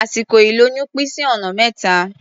Àsìkò ìlóyún pín sí ọ̀nà mẹ́ta.